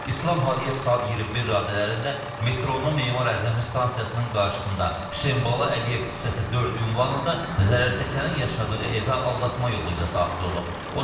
İslam Hadiyev saat 21 radələrində metronun Memar Əcəmi stansiyasının qarşısında Hüseynbala Əliyev küçəsi 4 ünvanında zərərçəkənin yaşadığı evə aldatma yolu ilə daxil olub.